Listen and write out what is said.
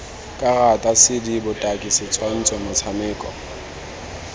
karata cd botaki setshwantsho motshameko